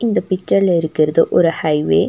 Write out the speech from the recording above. இந்த பிட்ஸர்ல இருக்கறது ஒரு ஹைவே .